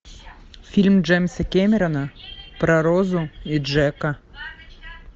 фильм джеймса кэмерона про розу и джека